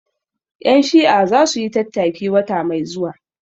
Ƴan Shi'a za su yi tattaki wata mai zuwa